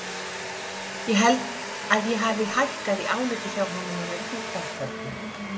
Ég held að ég hafi hækkað í áliti hjá honum að undanförnu.